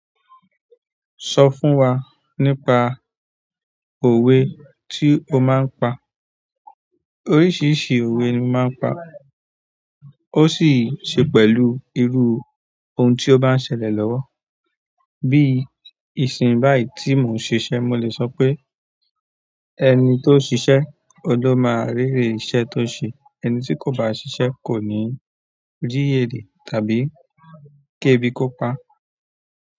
Sọ fún wa nípa òwe tí o máa ń pa. Oríṣiríṣi òwe ni mo máa ń pa. Ó sì ṣe pẹ̀lú irú ohun tí ó bá ń ṣẹlẹ̀ lọ́wọ́. Bí i ìsìn báyìí tí mò ń ṣiṣẹ́, mo lè sọ pé "ẹni tó ṣiṣẹ́, ó ló máa rere iṣẹ́ tó ṣe, ẹni tí kò bá ṣiṣẹ́ kò ní rí èrètàbí kébi kó pa".